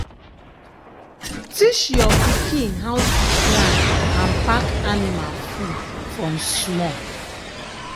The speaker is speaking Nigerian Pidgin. teach your pikin how to plan and pack anima food from small.